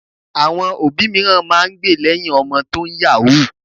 Àwọn òbí mìíràn máa ń gbe lẹ́yìn ọmọ tó ń yàwúù